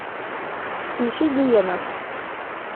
включи гиена